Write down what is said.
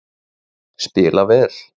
Spila vel